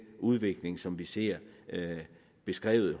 udvikling som vi ser beskrevet